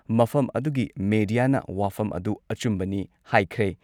ꯃꯐꯝ ꯑꯗꯨꯒꯤ ꯃꯦꯗꯤꯌꯥꯅ ꯋꯥꯐꯝ ꯑꯗꯨ ꯑꯆꯨꯝꯕꯅꯤ ꯍꯥꯏꯈ꯭ꯔꯦ ꯫